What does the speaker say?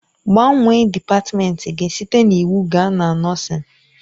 Gbanwee dịpatmenti gị site na iwu gaa na nọọsịn!